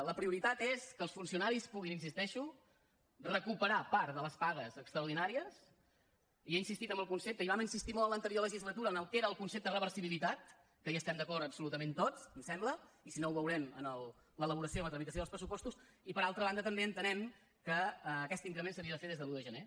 la prioritat és que els funcionaris puguin hi insisteixo recuperar part de les pagues extraordinàries i he insistit en el concepte i vam insistir molt en l’anterior legislatura en el que era concepte reversibilitat que hi estem d’acord absolutament tots em sembla i si no ho veurem en l’elaboració i la tramitació dels pressupostos i per altra banda també entenem que aquest increment s’havia de fer des de l’un de gener